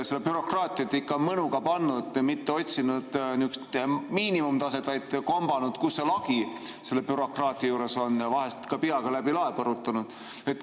Seda bürokraatiat on ikka mõnuga pandud, mitte otsitud niisugust miinimumtaset, vaid kombatud, kus see lagi selle bürokraatia juures on, ja vahest ka peaga läbi lae põrutanud.